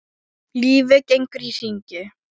Lífið gengur í hringi.